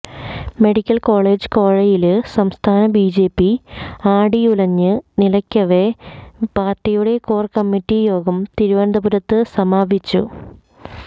medical college കോഴയില് സംസ്ഥാന BJP ആടിയുലഞ്ഞ് നില്ക്കവെയ പാര്ട്ടിയുടെ കോര്കമ്മിറ്റി യോഗം തിരുവനന്തപുരത്ത് സമാപിച്ചു